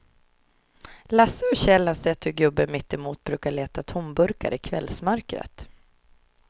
Lasse och Kjell har sett hur gubben mittemot brukar leta tomburkar i kvällsmörkret.